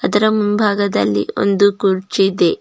ಇದರ ಮುಂಭಾಗದಲ್ಲಿ ಒಂದು ಕುರ್ಚಿ ಇದೆ.